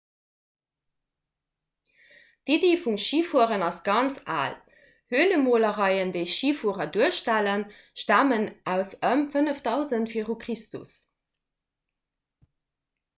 d'iddi vum schifueren ass ganz al hölemolereien déi schifuerer duerstellen stamen aus ëm 5000 v chr